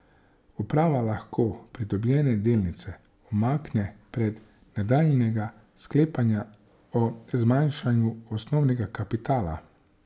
Uprava lahko pridobljene delnice umakne brez nadaljnjega sklepanja o zmanjšanju osnovnega kapitala.